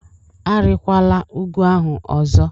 Arịkwala ugwu ahụ ọzọ!